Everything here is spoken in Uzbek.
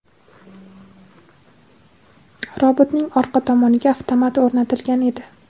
Robotning orqa tomoniga avtomat o‘rnatilgan edi.